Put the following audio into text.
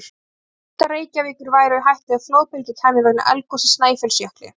Hvaða hlutar Reykjavíkur væru í hættu ef flóðbylgja kæmi vegna eldgoss í Snæfellsjökli?